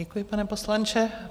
Děkuji, pane poslanče.